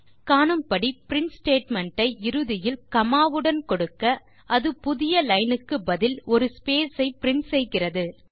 காணும்படி print statement ஐ இறுதியில் காமா வுடன் கொடுக்க அது புதிய லைன்னுக்கு பதில் ஒரு ஸ்பேஸ் ஐ பிரின்ட் செய்கிறது